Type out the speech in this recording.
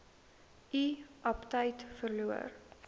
u aptyt verloor